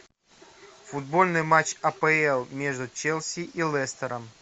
футбольный матч апл между челси и лестером